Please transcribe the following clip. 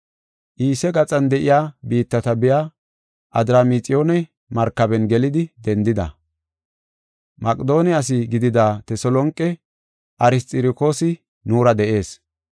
Iise gaxan de7iya biittata biya Adramixiyoone markaben gelidi dendida. Maqedoone asi gidida Teselonqe Arsxirokoosi nuura de7ees.